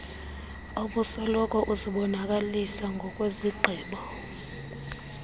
obusoloko uzibonakalisa ngokwezigqibo